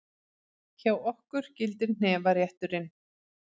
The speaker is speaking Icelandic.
Hjá okkur gildir hnefarétturinn!